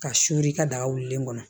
Ka suri i ka daga wulilen kɔnɔ